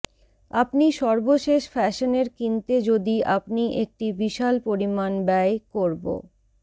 আপনি সর্বশেষ ফ্যাশনের কিনতে যদি আপনি একটি বিশাল পরিমাণ ব্যয় করব